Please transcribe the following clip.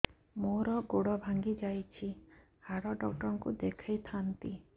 ମୋର ଗୋଡ ଭାଙ୍ଗି ଯାଇଛି ହାଡ ଡକ୍ଟର ଙ୍କୁ ଦେଖେଇ ଥାନ୍ତି